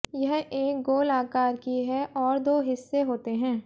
यह एक गोल आकार की है और दो हिस्से होते हैं